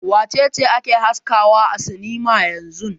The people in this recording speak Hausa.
Wace ce ake haskawa a sinima yanzun?